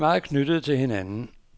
De er meget knyttede til hinanden.